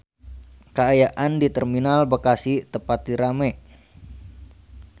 Kaayaan di Terminal Bekasi teu pati rame